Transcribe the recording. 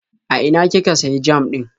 A ina kika sayi jam ɗin?